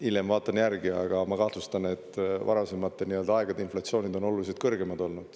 Hiljem vaatan järgi, aga ma kahtlustan, et varasemate aegade inflatsioonid on oluliselt kõrgemad olnud.